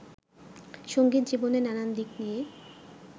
সংগীত জীবনের নানান দিক নিয়ে